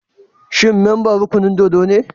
Shi memban rukunin dōdo ne?